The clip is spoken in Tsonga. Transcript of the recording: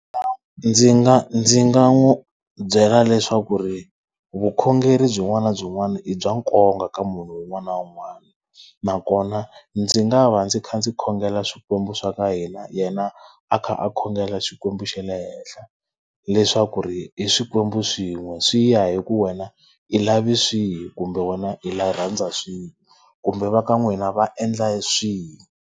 Ndzi nga ndzi nga n'wi byela leswaku ri vukhongeri byin'wana na byin'wana i bya nkoka ka munhu un'wana na un'wana. Nakona ndzi nga va ndzi kha ndzi khongela swikwembu swa ka hina yena a kha a khongela Xikwembu xa le henhla. Leswaku ri i swikwembu swin'we, swi ya hi ku wena i lava swihi kumbe wena i rhandza swihi. Kumbe va ka n'wina va endla swihi.